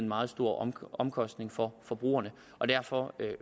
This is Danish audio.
meget stor omkostning for forbrugerne derfor